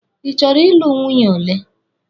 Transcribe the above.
Ị chọrọ ị lụ nwunye ole?